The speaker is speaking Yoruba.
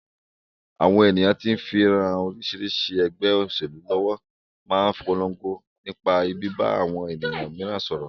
Àwọn ènìyàn tí ń ran oríṣiríṣi ẹgbẹ́ òṣèlú lọ́wọ́ máa ń polongo nípa bíbá àwọn ènìyàn mìíràn sọ̀rọ̀